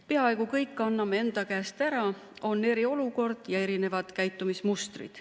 Peaaegu kõik anname enda käest ära, on eriolukord ja erinevad käitumismustrid.